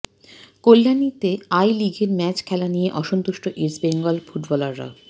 কল্যাণীতে I লিগের match খেলা নিয়ে অসন্তুষ্ট ইস্টবেঙ্গল ফুটবলাররা